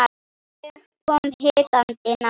Ég kom hikandi nær.